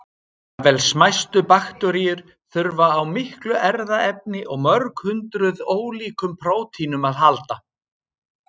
Jafnvel smæstu bakteríur þurfa á miklu erfðaefni og mörg hundruð ólíkum prótínum að halda.